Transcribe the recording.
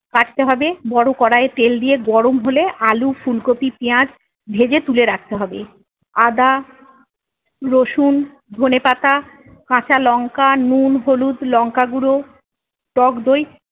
কাটতে হবে বড়ো কড়াইয়ে তেল দিয়ে গরম হলে আলু ফুলকপি পিয়াঁজ ভেজে তুলে রাখতে হবে। আদা রসুন ধনেপাতা কাঁচালঙ্কা নুন হলুদ লঙ্কাগুঁড়ো টকদই-